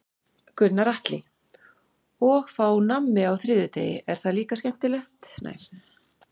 Gunnar Atli: Og fá nammi á þriðjudegi, er það skemmtilegt líka?